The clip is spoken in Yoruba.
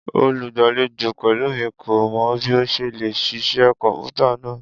Olugbalejo Pelumi ko mọ bi o ṣe le ṣiṣẹ kọnputa naa